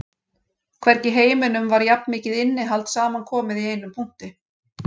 Hvergi í heiminum var jafn mikið innihald samankomið í einum punkti